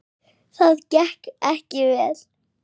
Það gekk ekki vel.